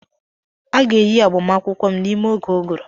A ga-eyi agbamakwụkwọ m n'ime oge ụgụrụ.